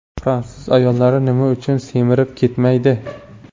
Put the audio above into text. Fransuz ayollari nima uchun semirib ketmaydi?.